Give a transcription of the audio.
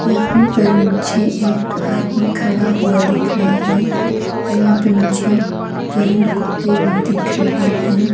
यहां पर मुझे एक आदमी खड़ा हुआ दिख रहा है और यहां पर मुझे तीन कुत्ते भी दिख रहे हैं।